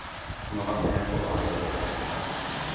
Han har vært med på å lage rapporten.